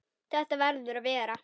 Það verður að vera.